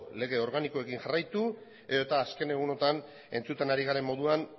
lege organikoekin jarraitu edota azken egunotan entzuten ari garen moduan